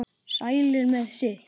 Sælir með sitt.